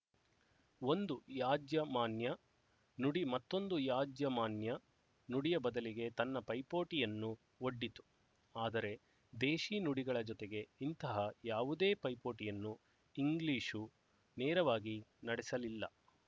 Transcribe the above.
ಒಂದು ಯಾಜಮಾನ್ಯ ನುಡಿ ಮತ್ತೊಂದು ಯಾಜಮಾನ್ಯ ನುಡಿಯ ಬದಲಿಗೆ ತನ್ನ ಪೈಪೋಟಿಯನ್ನು ಒಡ್ಡಿತು ಆದರೆ ದೇಶಿ ನುಡಿಗಳ ಜೊತೆಗೆ ಇಂತಹ ಯಾವುದೇ ಪೈಪೋಟಿಯನ್ನು ಇಂಗ್ಲಿಶು ನೇರವಾಗಿ ನಡೆಸಲಿಲ್ಲ